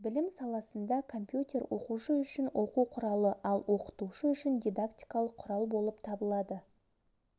білім саласында компьютер оқушы үшін оқу құралы ал оқытушы үшін дидактикалық құрал болып табылады